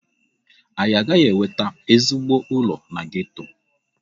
Anyị agaghị enweta ezigbo ụlọ na geto.